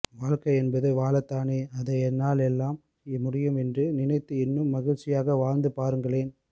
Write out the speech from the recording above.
வாழ்க்கை என்பது வாழத்தானே அதை என்னால் எல்லாம் முடியும் என்று நினைத்து இன்னும் மகிழ்ச்சியாக வாழ்ந்துப் பாருங்களேன்